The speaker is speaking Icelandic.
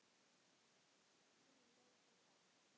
Tíminn leið svo hratt.